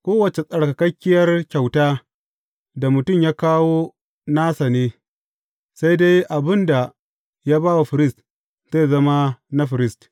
Kowace tsarkakakkiyar kyauta da mutum ya kawo nasa ne, sai dai abin da ya ba wa firist, zai zama na firist.’